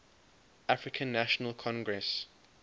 african national congress